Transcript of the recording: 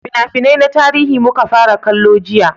fina-finai na tarihi muka fara kallo jiya